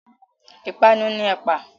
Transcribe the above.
Ìpanu ni ẹ̀pà.